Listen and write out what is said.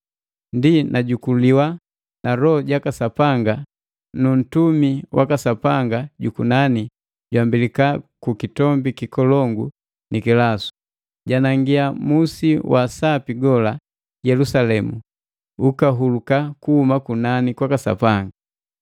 Ndi najukuliwa na Loho jaka Sapanga nu mtumi waka Sapanga jukunani jwambelika ku kitombi kikolongu ni kilasu, janangia musi wa sapi gola, Yelusalemu, ukahuluka kuhuma kunani kwaka Sapanga.